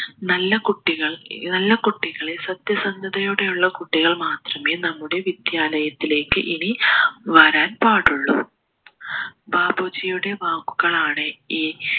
നല്ല കുട്ടികൾ നല്ല കുട്ടികളെ സത്യസന്ധതയോടെയുള്ള കുട്ടികൾ മാത്രമേ നമ്മുടെ വിദ്യാലയത്തിലേക്ക് ഇനി വരാൻ പാടുള്ളു ബാപ്പുജിയുടെ വാക്കുകളാണ് ഈ